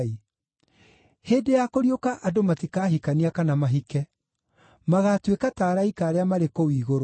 Hĩndĩ ya kũriũka andũ matikahikania kana mahike; magaatuĩka ta araika arĩa marĩ kũu igũrũ.